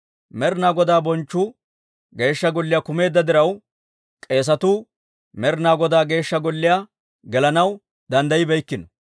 Med'inaa Godaa bonchchu Geeshsha Golliyaa kumeedda diraw, k'eesatuu Med'inaa Godaa Geeshsha Golliyaa gelanaw danddayibeykkino.